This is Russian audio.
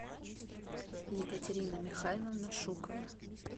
екатерина михайловна шукова